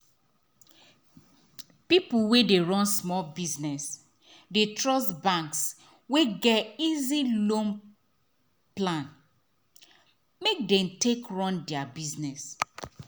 people wey dey run small business dey trust banks wey get easy loan plan um make them take run their business.